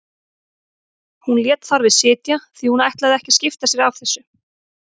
Hún lét þar við sitja því hún ætlaði ekki að skipta sér af þessu.